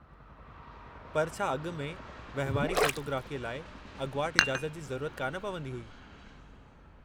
पर छा अॻु में वंहिवारी फ़ोटोग्राफ़ीअ लाइ अॻुवाट इजाज़त जी ज़रूरत कान पवंदी हुई?